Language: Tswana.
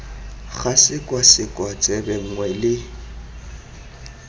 ga sekwasekwa tsebe nngwe le